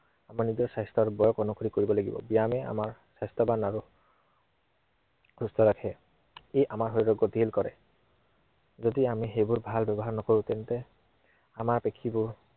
নিজৰ স্বাস্থ্য় আৰু বয়স অনুযায়ী কৰিব লাগিব। ব্য়ায়ামে আমাক স্বাস্থ্য়ৱান আৰু সুস্থ ৰাখে। ই আমাৰ শৰীৰক গতিশীল কৰে। যদি আমি সেইবোৰ ভাল ব্য়ৱহাৰ নকৰো তেন্তে, আমাৰ পেশীবোৰ